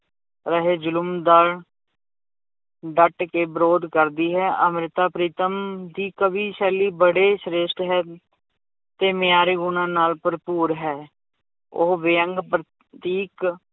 ਰਹੇ ਜ਼ੁਲਮ ਦਾ ਡੱਟ ਕੇ ਵਿਰੋਧ ਕਰਦੀ ਹੈ, ਅੰਮ੍ਰਿਤਾ ਪ੍ਰੀਤਮ ਦੀ ਕਵੀ ਸ਼ੈਲੀ ਬੜੇ ਸ੍ਰੇਸ਼ਟ ਹੈ ਤੇ ਮਿਆਰੀ ਗੁਣਾਂ ਨਾਲ ਭਰਪੂਰ ਹੈ, ਉਹ ਵਿਅੰਗ ਪ੍ਰਤੀਕ